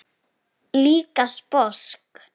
Líka sposk.